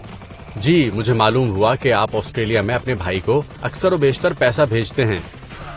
جی، مجھے معلوم ہوا کہ آپ آسٹریلیا میں اپنے بھائی کو اکثر و بیشتر پیسہ بھیجتے ہیں۔